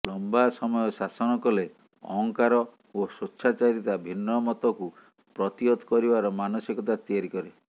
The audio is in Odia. ଲମ୍ବା ସମୟ ଶାସନ କଲେ ଅହଂକାର ଓ ସ୍ୱେଚ୍ଛାଚାରିତା ଭିନ୍ନମତକୁ ପ୍ରତିହତ କରିବାର ମାନସିକତା ତିଆରି କରେ